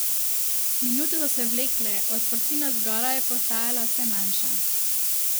Minute so se vlekle, odprtina zgoraj pa je postajala vse manjša.